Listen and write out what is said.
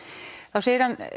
þá segir hann